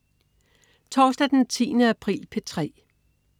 Torsdag den 10. april - P3: